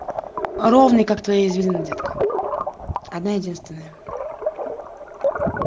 ровный как твои извилины детка одна единственная